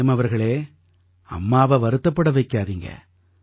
frame அவர்களே அம்மாவை வருத்தப்பட வைக்காதீங்க